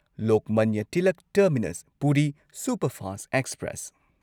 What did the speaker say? Lokmanya Tilak terminus Puri superfast express